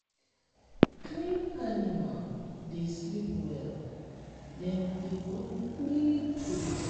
clean animal dey sleep well dem dey grow quick quick.